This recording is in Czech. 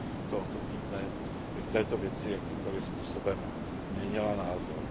tohoto týdne, v této věci jakýmkoli způsobem měnila názor.